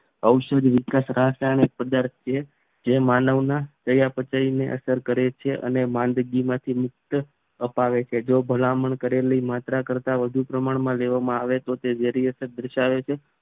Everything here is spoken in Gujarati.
ઔષધીય વિકાસ રાસાયણિક પદાર્થ છે જે માનવના ચયાપચયની અસર કરે છે અને માંદગી માંથી મુક્ત અપાવે છે જો ભલામણ કરેલી માત્ર કરતાં વધુ પ્રમાણમાં લેવામાં આવે તો તે ઝેરી અસર થાય છે